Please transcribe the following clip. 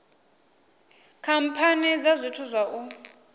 khamphani dza zwithu zwa u